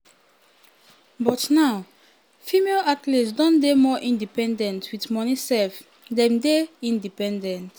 but now female female athletes don dey more independent wit money sef dem dey independent".